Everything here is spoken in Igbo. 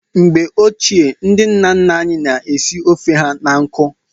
Mgbe ochie, ndị nna nna anyị na-esi ofe ha na nkụ.